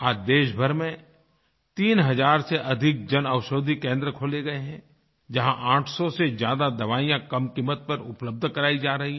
आज देशभर में 3 हज़ार से अधिक जनऔषधि केंद्र खोले गए हैं जहाँ 800 से ज्यादा दवाइयाँ कम क़ीमत पर उपलब्ध करायी जा रही हैं